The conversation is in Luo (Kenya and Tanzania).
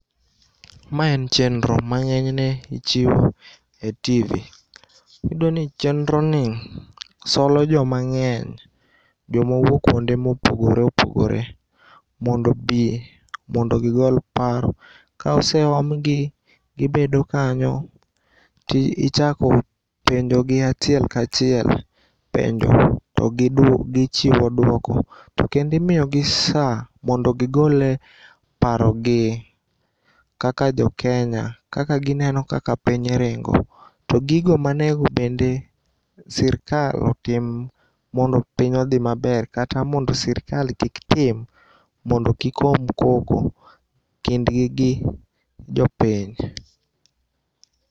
Ma en chenro mang'enyne ichiwo e TV.Iyudoni chenroni solo joma ng'eny, jomowuok kuonde mopogore opogore mondo bii mondo gigol paro kaoseomgi gibedo kanyo tichako penjogi achiel kachiel penjo to gichiwo duoko. To kendo imiyogi saa mondo gigol parogi kaka jokenya kaka gineno kaka piny ringo. To gigo manego bende sirkal otim mondo piny odhi maber kata mondo sirkal kik tim mondo kik om koko kindgi gi jopiny.